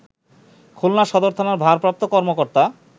খুলনা সদর থানার ভারপ্রাপ্ত কর্মকর্তা